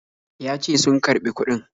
Ya ce sun karɓi kuɗin.